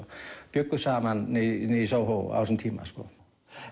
bjuggu saman niðri í á þessum tíma